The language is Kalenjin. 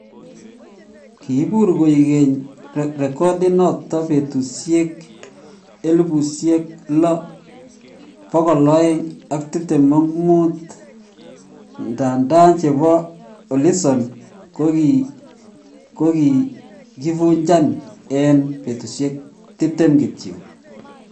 Kiibur koigeny recodinoton petusiek 6,225, nda ndan Chepo alison kokigivujan en petusiek 20 kityok